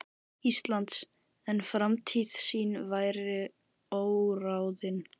Íslands, en framtíð sín væri óráðin.